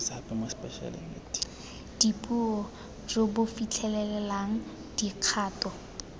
dipuo jo bo fitlhelelang dikgato